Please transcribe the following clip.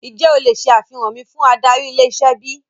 Ǹjẹ́ o le ṣe àfihàn mi fún adarí ilé-iṣẹ́ bíi?